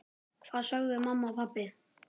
Hvað sögðu mamma og pabbi?